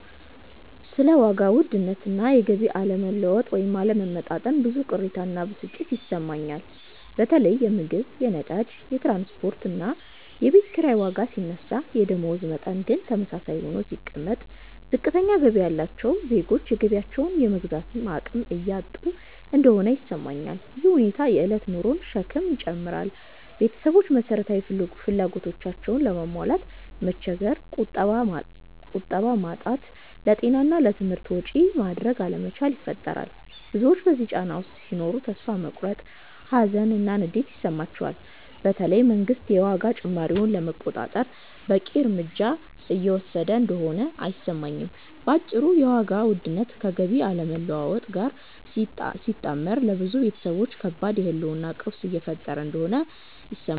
ስለ ዋጋ ውድነት እና የገቢ አለመለወጥ (ወይም አለመመጣጠን) ብዙ ቅሬታ እና ብስጭት ይሰማኛል። በተለይ የምግብ፣ የነዳጅ፣ የትራንስፖርት እና የቤት ኪራይ ዋጋ ሲነሳ የደመወዝ መጠን ግን ተመሳሳይ ሆኖ ሲቀመጥ፣ ዝቅተኛ ገቢ ያላቸው ዜጎች የገቢያቸውን የመግዛት አቅም እያጡ እንደሆነ ይሰማኛል። ይህ ሁኔታ የእለት ኑሮን ሸክም ይጨምራል – ቤተሰቦች መሰረታዊ ፍላጎቶቻቸውንም ለማሟላት መቸገር፣ ቁጠባ ማጣት፣ ለጤና እና ለትምህርት ወጪ ማድረግ አለመቻል ይፈጥራል። ብዙዎች በዚህ ጫና ውስጥ ሲኖሩ ተስፋ መቁረጥ፣ ሀዘን እና ንዴት ይሰማቸዋል፤ በተለይ መንግስት የዋጋ ጭማሪውን ለመቆጣጠር በቂ እርምጃ እየወሰደ እንደሆነ አይሰማኝም። በአጭሩ የዋጋ ውድነት ከገቢ አለመለወጥ ጋር ሲጣመር ለብዙ ቤተሰቦች ከባድ የህልውና ቀውስ እየፈጠረ እንደሆነ ይሰማኛል።